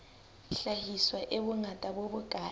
hlahiswa e bongata bo bokae